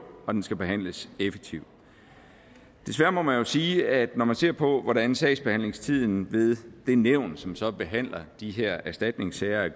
og den skal behandles effektivt desværre må man jo sige at når man ser på hvordan sagsbehandlingstiden ved den nævn som så behandler de her erstatningssager